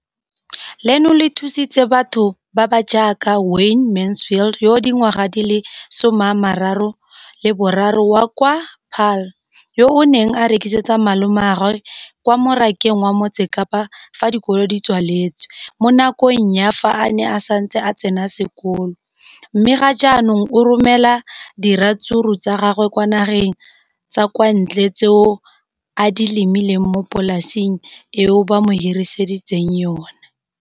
leno le thusitse batho ba ba jaaka Wayne Mansfield, 33, wa kwa Paarl, yo a neng a rekisetsa malomagwe kwa Marakeng wa Motsekapa fa dikolo di tswaletse, mo nakong ya fa a ne a santse a tsena sekolo, mme ga jaanong o romela diratsuru tsa gagwe kwa dinageng tsa kwa ntle tseo a di lemileng mo polaseng eo ba mo hiriseditseng yona.